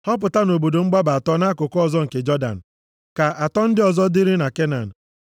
Họpụta obodo mgbaba atọ nʼakụkụ ọzọ nke Jọdan. Ka atọ ndị ọzọ dịrị na Kenan.